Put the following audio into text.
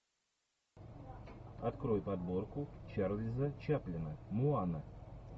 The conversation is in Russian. открой подборку чарльза чаплина моана